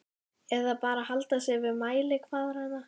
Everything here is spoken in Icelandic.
Eða bara halda sig við mælikvarðana?